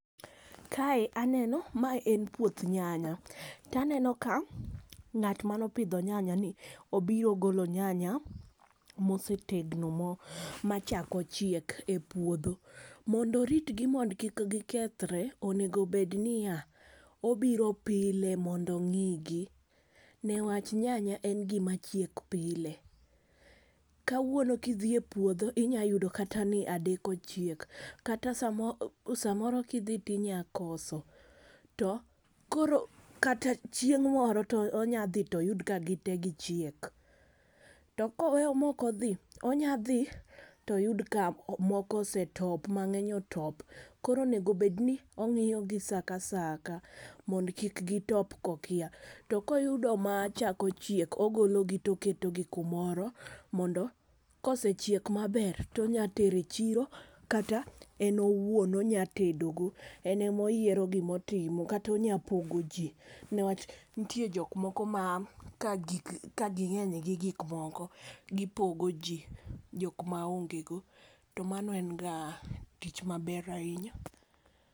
Kae aneno mae en puoth nyanya taneno ka ng'at mano pidho nyanya ni obiro golo nyanya mosetegno machako chiek e puodho. Mondo oritgi mondo kik gikethre onego bed niya obiro pile mondo ong'igi newach nyanya en gima chiek pile. Kawuono kidhie puodho inyalo yudo kata ni adek ochiek kata samo samoro kidhi tinya koso to koro kata chieng' moro to onya dhi toyud kagite gichiek. To koweyo mok odhi onya dhi toyud ka moko osetop mang'eny otop . Koro onego bed ni ong'iyo gi saa ka saa mondo kik gitop kokia . To koyudo machako chiek togolo gi toketo gi kumoro mondo kosechiek maber tonya tero chiro kata en owuon onya tedo go. Enemo yiero gimotimo kata onya pogo jii nikech ntie jok moko ma ka gig ging'eny gi gik moko gipogo jii joka ma onge go to mano en ga tich maber ahinya.